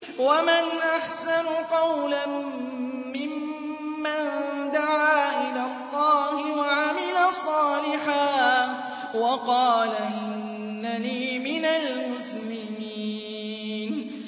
وَمَنْ أَحْسَنُ قَوْلًا مِّمَّن دَعَا إِلَى اللَّهِ وَعَمِلَ صَالِحًا وَقَالَ إِنَّنِي مِنَ الْمُسْلِمِينَ